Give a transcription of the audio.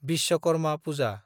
Vishwakarma Puja